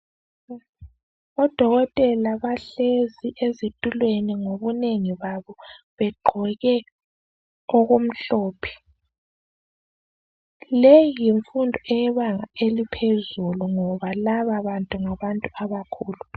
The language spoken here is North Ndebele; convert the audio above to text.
Odokotela bahlezi ezitulweni ngobunengi babo. Begqoke okumhlophe. Leyi yimfundo eyebanga eliphezulu, ngoba lababantu, ngabantu abakhulu.